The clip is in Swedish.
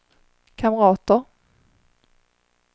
kamrater